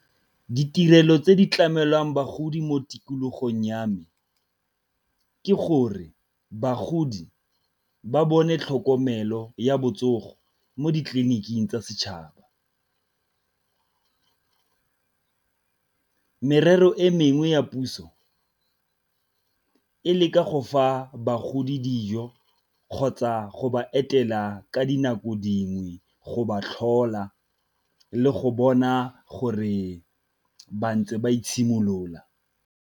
Ditirelo tse di tlamelwang bagodi mo tikologong ya me ke gore bagodi ba bone tlhokomelo ya botsogo mo ditleliniking tsa setšhaba, merero e mengwe ya puso e leka go fa bagodi dijo kgotsa go ba etela ka dinako dingwe go ba tlhola le go bona gore ba ntse ba itshimolola.